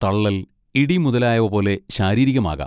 തള്ളൽ, ഇടി മുതലായവ പോലെ ശാരീരികമാകാം.